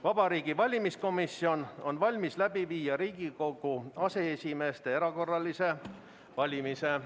Vabariigi Valimiskomisjon on valmis läbi viima Riigikogu aseesimeeste erakorralist valmist.